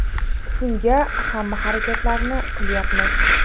Shunga hamma harakatlarni qilyapmiz.